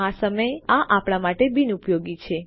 પરંતુ આ સમયે આ આપણા માટે બિનઉપયોગી છે